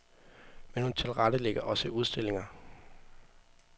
Men hun tilrettelægger også udstillinger.